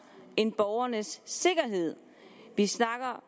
end borgernes sikkerhed vi snakker